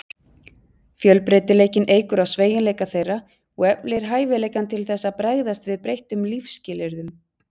Fjölbreytileikinn eykur á sveigjanleika þeirra og eflir hæfileikann til þess að bregðast við breyttum lífsskilyrðum.